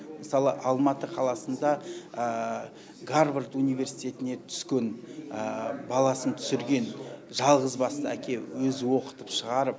мысалы алматы қаласында гарвард университетіне түскен баласын түсірген жалғызбасты әке өзі оқытып шығарып